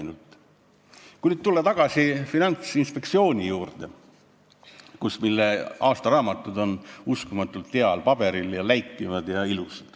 Nüüd tulen tagasi Finantsinspektsiooni juurde, mille aastaraamatud on uskumatult heal paberil, läikivad ja ilusad.